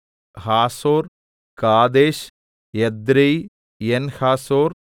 Hazor Kedesh Edrei Enhazor